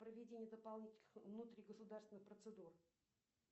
проведение дополнительных внутригосударственных процедур